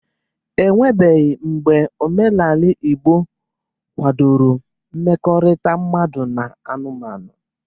Eweghi mgbe omenaala Igbo kwadoro mmekọrịta mmadụ na anụmanụ.